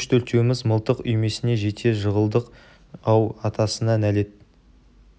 үш-төртеуміз мылтық үймесіне жете жығылдық-ау атасына нәлет